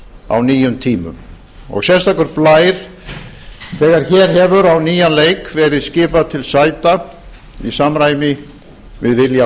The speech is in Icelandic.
á nýjum tímum sérstakur blær þegar hér hefur á nýjan leik verið skipað til sæta í samræmi við vilja